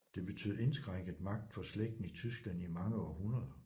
Det betød indskrænket magt for slægten i Tyskland i mange århundreder